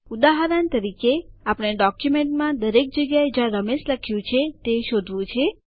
ઉદાહરણ તરીકે આપણે ડોક્યુમેન્ટમાં દરેક જગ્યાએ જ્યાં રમેશ લખ્યું છે તે શોધવાનું છે